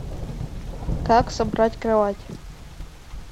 как собрать кровать